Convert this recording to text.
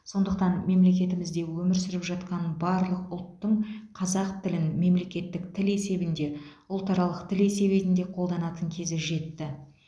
сондықтан мемлекетімізде өмір сүріп жатқан барлық ұлттың қазақ тілін мемлекеттік тіл есебінде ұлтаралық тіл есебенде қолданатын кезі жетті